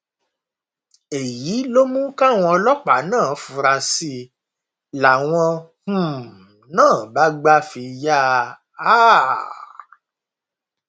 èyí ló mú káwọn ọlọpàá náà fura sí i làwọn um náà bá gbà fi yà um á